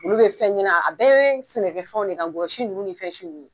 Olu bɛ fɛn ɲina a bɛɛ ye sɛnɛkɛfɛnw de ka koyi ngɔyɔsi ninnu ni fɛnsiw ninnu ye.